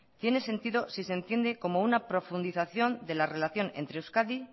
tiene sentido si se entiende como una profundización de la relación entre euskadi